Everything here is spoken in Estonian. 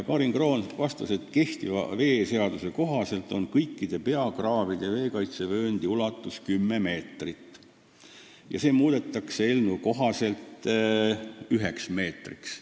Karin Kroon vastas, et kehtiva veeseaduse kohaselt on kõikide peakraavide veekaitsevööndi ulatus 10 meetrit, eelnõu kohaselt muudetakse see üheks meetriks.